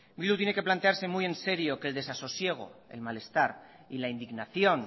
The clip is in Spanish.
bildu tiene que plantearse muy en serio que el desasosiego el malestar y la indignación